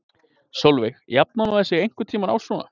Sólveig: Jafnar maður sig einhvern tímann á svona?